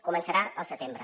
començarà al setembre